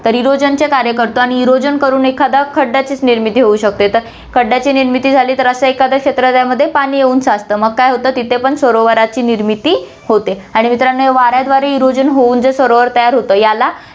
तर erosion चे कार्य करतो आणि erosion कडून एखाद्या खड्ड्याचीच निर्मिती होऊ शकते, तर खड्ड्याची निर्मिती झाली, तर असं एखाद्या क्षेत्रालयामध्ये पाणी येऊन साचतं, मग काय होतं तिथे पण सरोवराची निर्मिती होते आणि मित्रांनो, या वाऱ्याद्वारे erosion तयार होऊन जे सरोवर तयार होतं याला